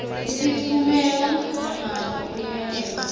sitffumela nangabo imiyaleto